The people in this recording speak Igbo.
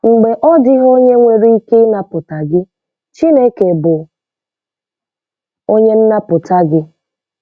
Mgbe odịghị onye nwere ike ịnapụta gị, Chineke bụ onye nnapụta gị.